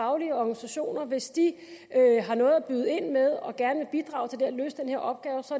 faglige organisationer hvis de har noget at byde ind med og gerne bidrage til at løse den her opgave så